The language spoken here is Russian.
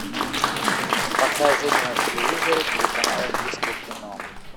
покажи мне на телевизоре телеканал индийское кино